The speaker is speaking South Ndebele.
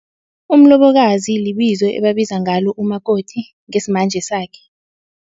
Umlobokazi libizo ebabiza ngalo umakoti ngesimanje sakhe.